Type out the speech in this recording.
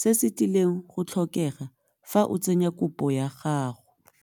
se se tlileng go tlhokega fa o tsenya kopo ya gago.